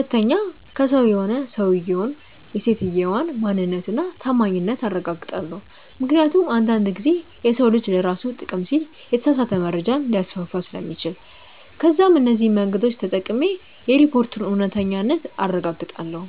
2. ከሰው ከሆነ የሰውየውን/ የሰትየዋን ማንነት እና ታማኝነት አረጋግጣለው ምክንያቱም አንድ አንድ ጊዜ የሰው ልጅ ለራሱ ጥቅም ሲል የተሳሳተ መረጃ ሊያስፋፋ ስለሚችል። ከዛም እነዚህ መንገዶች ተጠቅሜ የሪፖርቱን እውነተኛነት አረጋግጣለው።